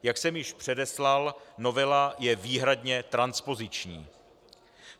Jak jsem již předeslal, novela je výhradně transpoziční.